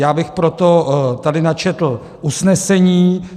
Já bych proto tady načetl usnesení.